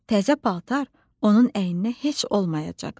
Təzə paltar onun əyninə heç olmayacaqdı.